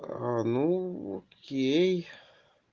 аа нуу окей